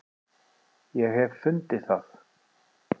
ég hef fundið það!